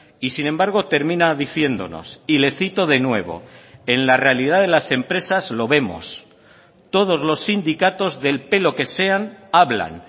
y sin embargo termina diciéndonos y le cito de nuevo en la realidad de las empresas lo vemos todos los sindicatos del pelo que sean hablan